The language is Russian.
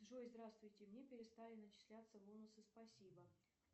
джой здравствуйте мне перестали начисляться бонусы спасибо